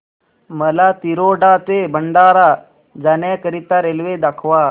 मला तिरोडा ते भंडारा जाण्या करीता रेल्वे दाखवा